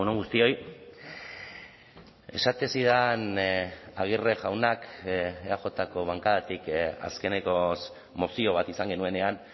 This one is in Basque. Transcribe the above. guztioi esaten zidan aguirre jaunak eajko bankadatik azkenekoz mozio bat izan genuenean